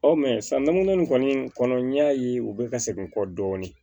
Ɔ sanguna in kɔni kɔnɔ n y'a ye u bɛ ka segin n kɔ dɔɔnin